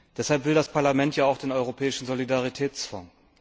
Deshalb will das Parlament ja auch den Europäischen Solidaritätsfonds.